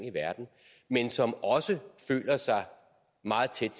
i verden men som også føler sig meget tæt